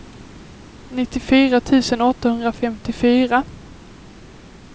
nittiofyra tusen åttahundrafemtiofyra